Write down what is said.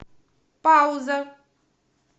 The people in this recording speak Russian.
пауза